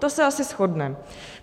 To se asi shodneme.